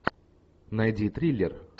найди триллер